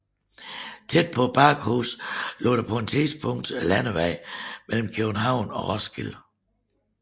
Tæt på Bakkehuset lå på det tidspunkt landevejen mellem København og Roskilde